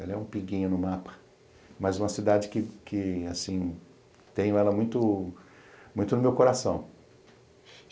Ela é um pinguinho no mapa, mas uma cidade que que, assim, tenho ela muito muito no meu coração.